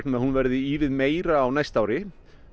að hún verði ívið meiri á næsta ári